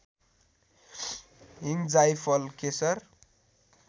हिङ जाइफल केशर